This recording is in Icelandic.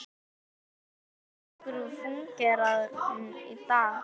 Hvernig getur nokkur fúnkerað í dag?